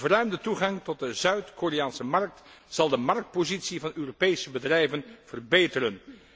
De verruimde toegang tot de Zuid Koreaanse markt zal de marktpositie van Europese bedrijven verbeteren.